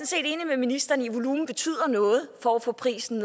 set enig med ministeren i at volumen betyder noget for at få prisen